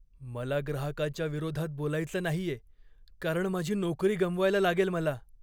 मला ग्राहकाच्या विरोधात बोलायचं नाहीये कारण माझी नोकरी गमवायला लागेल मला.